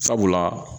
Sabula